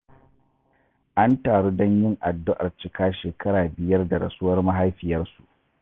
An taru don yin addu'ar cika shekara biyar da rasuwar mahaifiyarsu